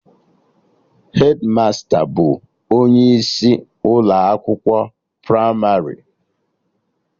Hedmasta bụ onye isi Ụlọ akwụkwọ pramarị